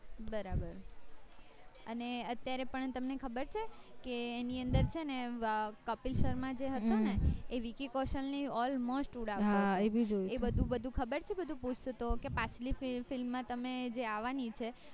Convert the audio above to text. બરાબર અને અત્યારે પણ તમને ખબર છે ઈની અંદર છે ને કપિલ શર્મા જે હતો ને એ વીકી કૌશલ ની almost ઉડાવતો હતો એ બધું બધું ખબર છે બધું પૂછતો હતો કે પાછલી film માં તમે જે આવાની છે